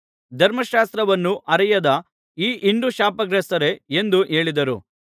ಧರ್ಮಶಾಸ್ತ್ರವನ್ನು ಅರಿಯದ ಈ ಹಿಂಡು ಶಾಪಗ್ರಸ್ತರೇ ಎಂದು ಹೇಳಿದರು